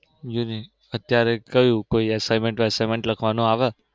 unique અત્યરે ક્યુ? કોઈ assignment વેસાઈન્મેન્ટ લખવાનું આવે?